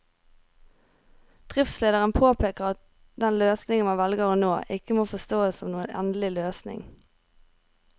Driftslederen påpeker at den løsningen man velger nå, ikke må forstås som noen endelig løsning.